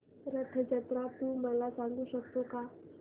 रथ जत्रा तू मला सांगू शकतो का